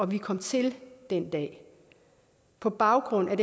vi kom til den dag på baggrund af